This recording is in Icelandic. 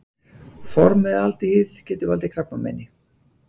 Formaldehýð- Getur valdið krabbameini.